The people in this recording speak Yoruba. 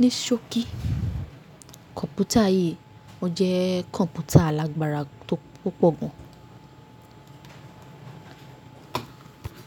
Níṣọ́ kí, kọ̀ǹpútà yìí jẹ́ kọ̀ǹpútà alágbára tó púpọ̀ gan.